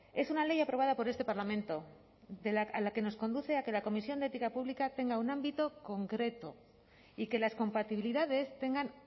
es una ley aprobada por este parlamento a la que nos conduce a que la comisión de ética pública tenga un ámbito concreto y que las compatibilidades tengan